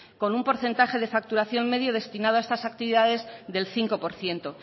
con un porcentaje de facturación medio destinados a estas actividades del cinco por ciento